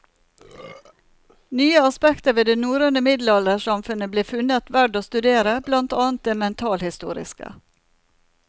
Nye aspekter ved det norrøne middelaldersamfunnet ble funnet verd å studere, blant annet det mentalhistoriske.